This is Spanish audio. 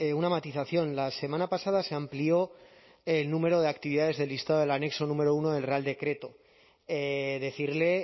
una matización la semana pasada se amplió el número de actividades del listado del anexo número uno del real decreto decirle